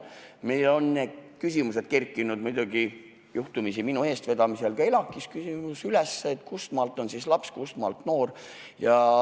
Meil on küsimusi üles kerkinud – seda juhtumisi minu eestvedamisel – ka elatise maksmisega seoses: kuhumaani on inimene laps, kustmaalt alates noor.